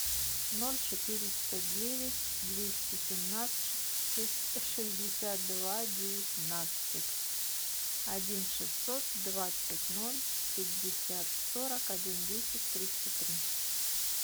ноль четыреста девять двести семнадцать шестьдесят два девятнадцать один шестьсот двадцать ноль пятьдесят сорок один десять тридцать три